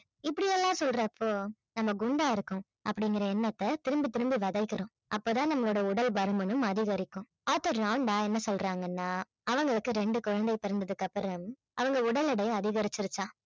இப்படி எல்லாம் சொல்றப்போ நம்ம குண்டா இருக்கோம் அப்படிங்கிற எண்ணத்தை திரும்ப திரும்ப விதைக்கிறோம் அப்பதான் நம்மளோட உடல் பருமனும் அதிகரிக்கும் author ராண்டா என்ன சொல்றாங்கன்னா அவங்களுக்கு ரெண்டு குழந்தை பிறந்ததுக்கு அப்புறம் அவங்க உடல் எடை அதிகரிச்சிருச்சாம்